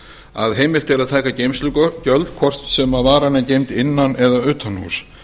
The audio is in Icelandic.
að heimilt er að taka geymslugjöld hvort sem varan er geymd innan eða utanhúss